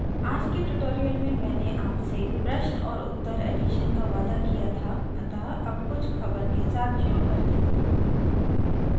आज के tutorial में मैंने आपसे प्रश्न और उत्तर edition का वादा किया था अतः अब कुछ ख़बर के साथ शुरू करती हूँ